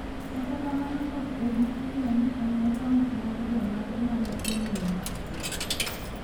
Kata kamano ok obi fulo ni en akaunt mag jomage ma ne omonj.